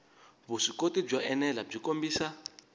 vuswikoti byo enela byi kombisa